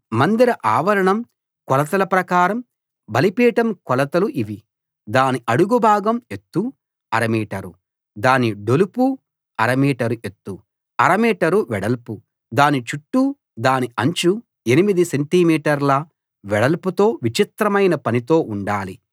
మందిర ఆవరణం కొలతల ప్రకారం బలిపీఠం కొలతలు ఇవి దాని అడుగుభాగం ఎత్తు అర మీటరు దాని డొలుపు అర మీటరు ఎత్తు అర మీటరు వెడల్పు దాని చుట్టూ దాని అంచు ఎనిమిది సెంటిమీటర్ల వెడల్పుతో విచిత్రమైన పనితో ఉండాలి